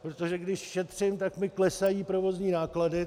Protože když šetřím, tak mi klesají provozní náklady.